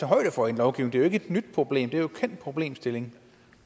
højde for i en lovgivning det et nyt problem det er jo en kendt problemstilling